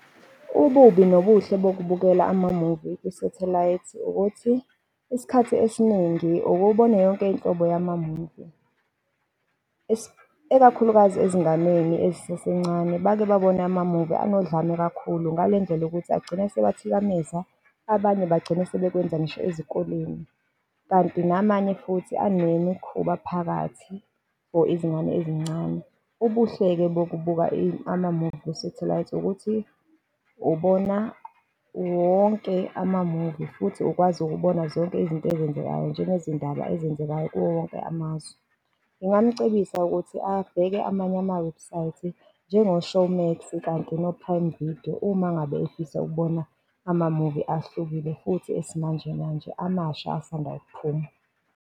Ububi nobuhle nokubukela amamuvi kwisathelayithi ukuthi isikhathi esiningi ukubona yonke inhlobo yamamuvi ikakhulukazi ezinganeni ezisasencane, bake babone amamuvi enodlame kakhulu ngalendlela yokuthi agcine sebathikameza, abanye bagcina sebekwenza ngisho ezikoleni, kanti namanye futhi anemikhuba phakathi for ezingane ezincane. Ubuhle-ke bokubuka amamuvi kwisathelayithi, ukuthi ubona wonke amamuvi, futhi ukwazi ukubona zonke izinto ezenzekayo njengezindaba ezenzekayo kuwo wonke amazwe. Ngingamucebisa ukuthi abheke amanye amawebhusayithi njengo-Showmax kanye no-Prime Video uma ngabe efisa ukubona amamuvi ahlukile futhi esimanje manje amasha asanda kuphuma.